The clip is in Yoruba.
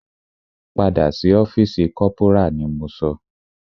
Padà sí ọ́fìsì corporal ni mo sọ!